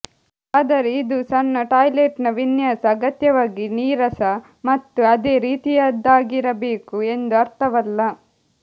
ಆದರೆ ಇದು ಸಣ್ಣ ಟಾಯ್ಲೆಟ್ನ ವಿನ್ಯಾಸ ಅಗತ್ಯವಾಗಿ ನೀರಸ ಮತ್ತು ಅದೇ ರೀತಿಯದ್ದಾಗಿರಬೇಕು ಎಂದು ಅರ್ಥವಲ್ಲ